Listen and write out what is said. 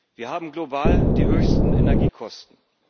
Wir haben global die höchsten Energiekosten.